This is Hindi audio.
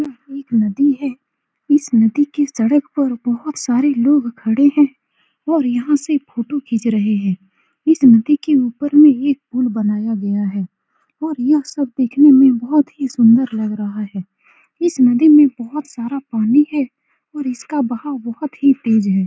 यह एक नदी है इस नदी के सड़क पर बहुत सारे लोग खड़े हैं और यहाँ से फोटो खीच रहे हैं इस नदी के ऊपर में एक पूल बनाया गया है और यह सब देखने में बहुत ही सुन्दर लग रहा है इस नदी में बहुत सारा पानी हैं और इसका बहाव बहुत ही तेज है।